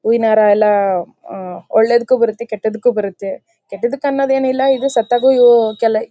ಹೂವಿನ ಹಾರ ಎಲ್ಲ ಹಮ್ ಒಳ್ಳೆದಕ್ಕೂ ಬರುತ್ತೆ ಕೆಟ್ಟದಕ್ಕೂ ಬರುತ್ತೆ ಕೆಟ್ಟದಕ್ಕನ್ನೋದು ಏನು ಇಲ್ಲ ಇದು ಸತ್ತಾಗ ಉ ಹ್ ---